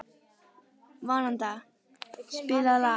Vanda, spilaðu lag.